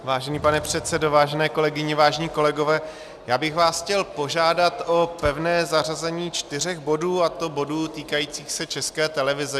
Vážený pane předsedo, vážené kolegyně, vážení kolegové, já bych vás chtěl požádat o pevné zařazení čtyř bodů, a to bodů týkajících se České televize.